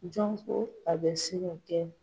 Jɔn ko a bɛ se ka kɛ.